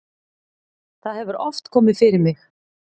það hefur oft komið fyrir mig.